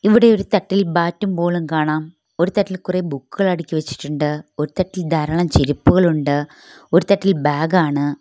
ഇവിടെ ഒരു തട്ടിൽ ബാറ്റും ബോളും കാണാം ഒരു തട്ടിൽ കുറെ ബുക്കുകൾ അടുക്കി വെച്ചിട്ടുണ്ട് ഒരു തട്ടിൽ ധാരാളം ചെരുപ്പുകളുണ്ട് ഒരു തട്ടിൽ ബാഗ് ആണ്.